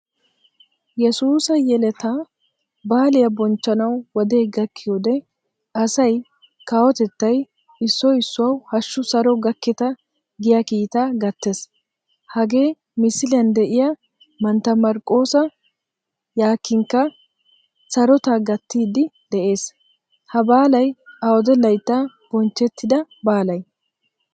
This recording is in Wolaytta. Yesuusa yeletta baaliyaa bochchanawu wode gakkiyode asay, kawotettay issoy issuwawu hashu saro gakketta giya kiitaa gattees. Hagee misiliyan deiya mantta Marqosa Yakinika sarotta gattidi de'ees. Ha baalay awude layttan bonchchettida baalay?